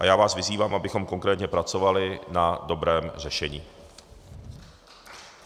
A já vás vyzývám, abychom konkrétně pracovali na dobrém řešení.